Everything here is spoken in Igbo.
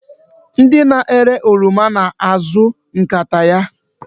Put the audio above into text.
Ndị na-ere oroma na-azụ nkata ya.